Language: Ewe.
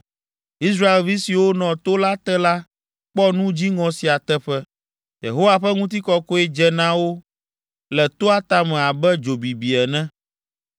Israelvi siwo nɔ to la te la kpɔ nu dziŋɔ sia teƒe. Yehowa ƒe ŋutikɔkɔe dze na wo le toa tame abe dzo bibi ene.